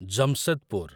Jamshedpur